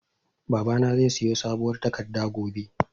Babana zai siyo mun sabuwar takarda gobe